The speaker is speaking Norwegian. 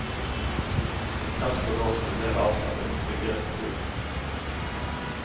Han fremstår nå som en mer avslappet og tryggere person.